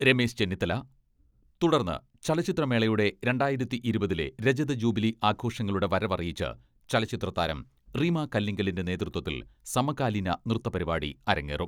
രമേശ് ചെന്നിത്തല, തുടർന്ന് ചലച്ചിത്രമേളയുടെ രണ്ടായിരത്തി ഇരുപതിലെ രജത ജൂബിലി ആഘോഷങ്ങളുടെ വരവറിയിച്ച് ചലച്ചിത്രതാരം റീമാ കല്ലിങ്കലിന്റെ നേതൃത്വത്തിൽ സമകാലീന നൃത്തപരിപാടി അരങ്ങേറും.